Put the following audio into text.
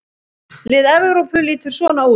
Lið Evrópu lítur svona út